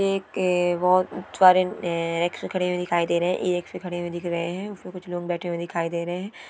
एके वो च से खड़े दिखाई दे रहे हैएक से खड़े दिख रहे है उसमे कुछ लोग बेठे दिखाई दे रहे है।